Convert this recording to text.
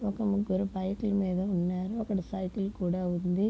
ఒక ముగ్గురు బైక్ లు మీద ఉన్నారు. ఒక సైకిల్ కూడా ఉంది.